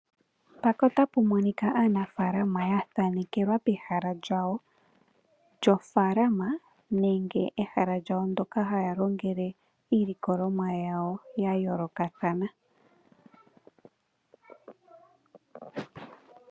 Mpaka ota pu monika aanafalama yathanekelwa pehala lyawo, lyofalama nenge ehala lyawo ndoka hayalongele yaawo yayoolokathana .